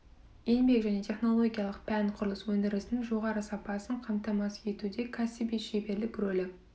еңбек және технологиялық пән құрылыс өндірісінің жоғары сапасын қамтамасыз етуде кәсіби шеберлік рөлі